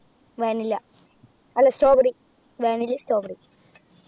Vanilla അല്ല Strawberry vanilla എം Strawberry ഉം